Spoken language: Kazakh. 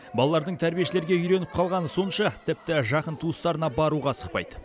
балалардың тәрбиешілерге үйреніп қалғаны сонша тіпті жақын туыстарына баруға асықпайды